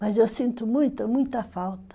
Mas eu sinto muita, muita falta.